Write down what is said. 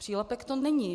Přílepek to není.